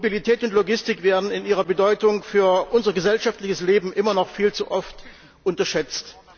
Mobilität und Logistik werden in ihrer Bedeutung für unser gesellschaftliches Leben immer noch viel zu oft unterschätzt.